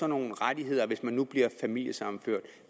nogle rettigheder hvis man nu bliver familiesammenført